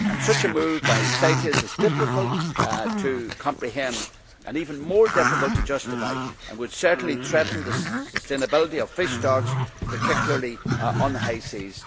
Such a move by CITES is difficult to comprehend and even more difficult to justify and would certainly threaten the sustainability of fish stocks, particularly on the high seas.